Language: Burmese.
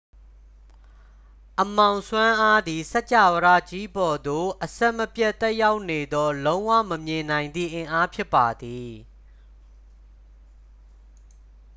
အမှောင်စွမ်းအားသည် စကြာဝဠာကြီးပေါ်သို့ အဆက်မပြတ်သက်ရောက်နေသော လုံးဝမမြင်နိုင်သည့်အင်အားဖြစ်ပါသည်